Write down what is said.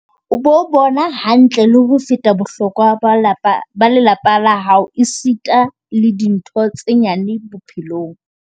"O bo bona hantle le ho feta bohlokwa ba lapa ba lelapa la hao esita le dintho tse nyane bo-phelong."